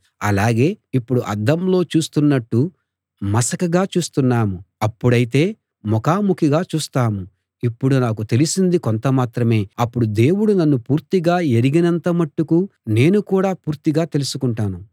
అలాగే ఇప్పుడు అద్దంలో చూస్తున్నట్టు మసకగా చూస్తున్నాం అప్పుడైతే ముఖాముఖిగా చూస్తాం ఇప్పుడు నాకు తెలిసింది కొంత మాత్రమే అప్పుడు దేవుడు నన్ను పూర్తిగా ఎరిగినంత మట్టుకు నేను కూడా పూర్తిగా తెలుసుకుంటాను